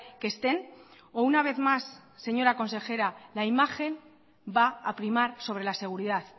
que estén o una vez más señora consejera la imagen va a primar sobre la seguridad